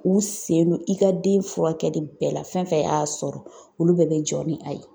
U sen no i ka den furakɛli bɛɛ la fɛn fɛn y'a sɔrɔ olu bɛɛ be jɔ ni a ye.